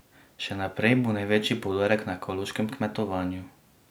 Še naprej bo največji poudarek na ekološkem kmetovanju.